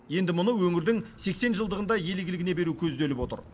енді мұны өңірдің сексен жылдығында ел игілігіне беру көзделіп отыр